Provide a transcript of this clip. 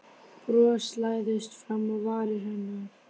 Bros læðist fram á varir hennar.